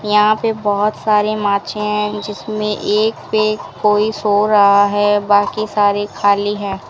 यहां पे बहोत सारे माचें हैं जिसमे एक पे कोई सो रहा है बाकी सारे खाली हैं।